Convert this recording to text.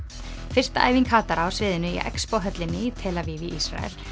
fyrsta æfing hatara á sviðinu í höllinni í tel Aviv í Ísrael